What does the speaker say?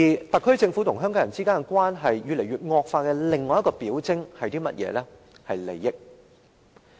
特區政府與香港人之間的關係惡化的另一個表徵，就是利益。